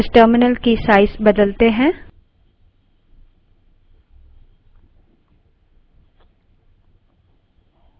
इस terminal की size बदलते हैं